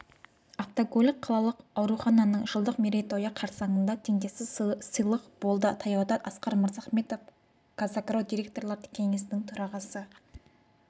автокөлік қалалық аурухананың жылдық мерейтойы қарсаңында теңдессіз сыйлық болды таяуда асқар мырзахметов қазагро директорлар кеңесінің төрағасы